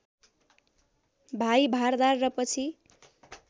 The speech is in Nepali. भाइ भारदार र पछि